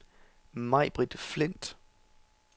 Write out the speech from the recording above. Maibritt Flindt